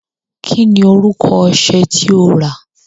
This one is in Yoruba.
Kí ni orúkọ ọṣẹ tí o rà?